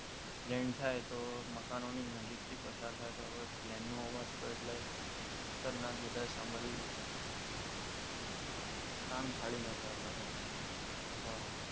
land થાય તો મકાનોની નજીકથી પસાર થાય તો હોય પ્લેન નો અવાજ તો એટલે ખતરનાક બધાય સાંભળ્યું જ હશે કાન ફાડી નાખ્યા આપણા બધાના હમ